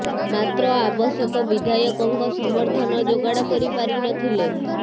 ମାତ୍ର ଆବଶ୍ୟକ ବିଧାୟକଙ୍କ ସମର୍ଥନ ଯୋଗାଡ଼ କରି ପାରି ନଥିଲେ